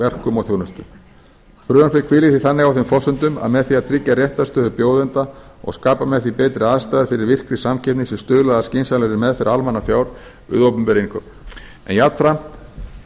verkum og þjónustu frumvarpið hvílir því þannig á þeim forsendum að með því að tryggja réttarstöðu bjóðenda og skapa með því betri aðstæður fyrir virkri samkeppni sé stuðlað að skynsamlegri meðferð almannafjár við opinber innkaup en jafnframt